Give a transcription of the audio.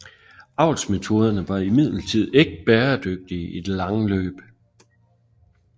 Avlsmetoderne var imidlertid ikke bæredygtige i det lange løb